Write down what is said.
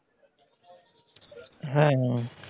হ্যাঁ